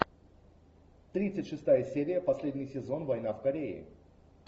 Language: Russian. тридцать шестая серия последний сезон война в корее